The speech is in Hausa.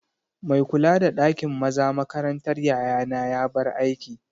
Mai kula da ɗakin maza makarantar yayana ya bar aiki